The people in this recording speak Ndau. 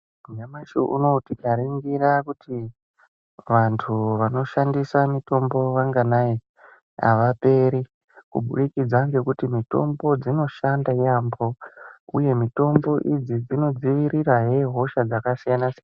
Nyamashi unou tikaringira kuti vantu vanoshandisa mitombo vanganai avaperi kubudikidza ngekuti mitombo dzinoshanda yambo uye mitombo idzi dzinodzivirirahe hosha dzakasiyana siyana.